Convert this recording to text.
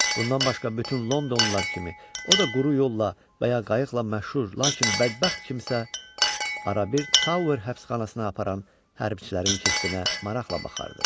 Bundan başqa bütün Londonlular kimi, o da quru yolla və ya qayıqla məşhur, lakin bədbəxt kimsə arabir Tower həbsxanasına aparan hərbçilərin kestinə maraqla baxardı.